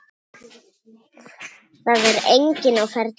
Það er enginn á ferli.